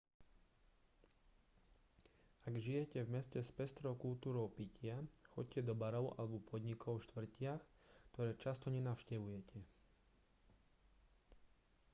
ak žijete v meste s pestrou kultúrou pitia choďte do barov alebo podnikov v štvrtiach ktoré často nenavštevujete